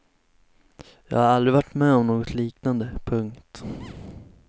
Jag har aldrig varit med om något liknande. punkt